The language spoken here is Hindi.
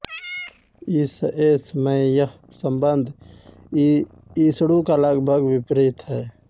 इशएस मैंयह संबंध इशडू का लगभग विपरीत है